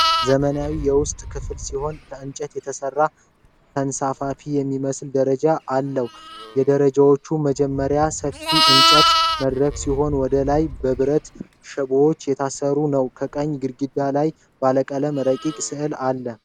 ዘመናዊ የውስጥ ክፍል ሲሆን ከእንጨት የተሰራ ተንሳፋፊ የሚመስል ደረጃ አለ። የደረጃዎቹ መጀመሪያ ሰፊ የእንጨት መድረክ ሲሆን ወደ ላይ በብረት ሽቦዎች የታጠረ ነው። በቀኝ ግድግዳ ላይ ባለቀለም ረቂቅ ስዕል አለ።